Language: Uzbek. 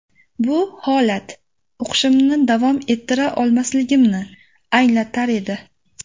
Bu holat o‘qishimni davom ettira olmasligimni anglatar edi.